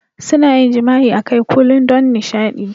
Suna yin jima'i akai Kulun don nishaɗi.